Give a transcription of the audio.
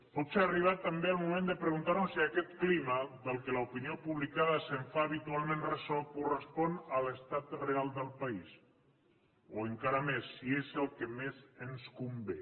potser ha arribat també el moment de preguntar nos si aquest clima del qual l’opinió publicada es fa habitualment ressò correspon a l’estat real del país o encara més si és el que més ens convé